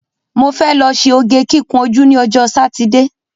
Mo fẹ́ lọ ṣe oge kíkun ojú ní ọjọ́ Sátidé